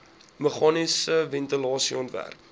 meganiese ventilasie ontwerp